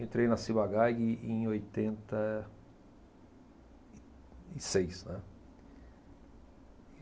Entrei na Ciba Geigy em oitenta e, e seis, né?